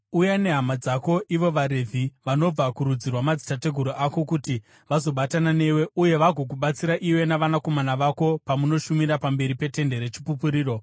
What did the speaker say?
Uya nehama dzako ivo vaRevhi vanobva kurudzi rwamadzitateguru ako kuti vazobatana newe uye vagokubatsira iwe navanakomana vako pamunoshumira pamberi peTende reChipupuriro.